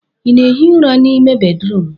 ị na-ehi ụra n'ime bedrum m?